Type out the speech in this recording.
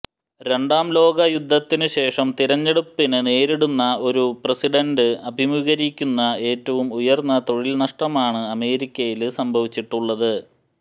രണ്ടാം ലോക യുദ്ധത്തിന് ശേഷം തിരഞ്ഞെടുപ്പിന് നേരിടുന്ന ഒരു പ്രസിഡണ്ട് അഭിമുഖീകരിക്കുന്ന ഏറ്റവും ഉയര്ന്ന തൊഴില് നഷ്ടമാണ് അമേരിക്കയില് സംഭവിച്ചിട്ടുള്ളത്